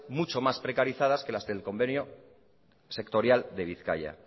mucho más precarizadas que las del convenio sectorial de bizkaia